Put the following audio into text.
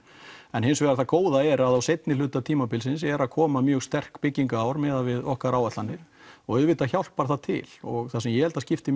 en það góða er að á seinni hluta tímabilsins er að koma mjög sterk byggingar ár miðað við okkar áætlanir og auðvitað hjálpar það til og það sem ég held að skipti